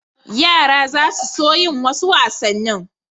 Yara za su so yin wasu wasannin.